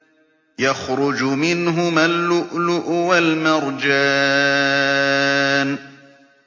يَخْرُجُ مِنْهُمَا اللُّؤْلُؤُ وَالْمَرْجَانُ